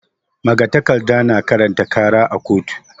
Magatakarda na karanta ƙara a koto.